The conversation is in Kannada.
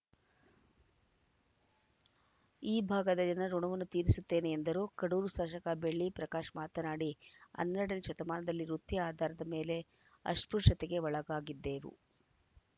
ಈ ಭಾಗದ ಜನರ ಋುಣವನ್ನು ತೀರಿಸುತ್ತೇನೆ ಎಂದರು ಕಡೂರು ಶಾಸಕ ಬೆಳ್ಳಿ ಪ್ರಕಾಶ್‌ ಮಾತನಾಡಿ ಹನ್ನೆರಡನೇ ಶತಮಾನದಲ್ಲಿ ವೃತ್ತಿ ಆಧಾರದ ಮೇಲೆ ಅಸ್ಪೃಶ್ಯತೆಗೆ ಒಳಗಾಗಿದ್ದೆವು